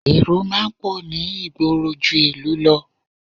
Èrò máa ń pọ̀ ní ìgboro ju ìlú lọ